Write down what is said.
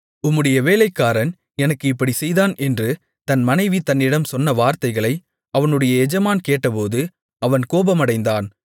உம்முடைய வேலைக்காரன் எனக்கு இப்படிச் செய்தான் என்று தன் மனைவி தன்னிடம் சொன்ன வார்த்தைகளை அவனுடைய எஜமான் கேட்டபோது அவன் கோபமடைந்தான்